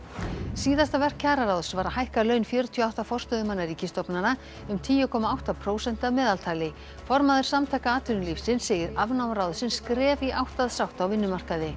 síðasta verk kjararáðs var að hækka laun fjörutíu og átta forstöðumanna ríkisstofnana um tíu komma átta prósent að meðaltali formaður Samtaka atvinnulífsins segir afnám ráðsins skref í átt að sátt á vinnumarkaði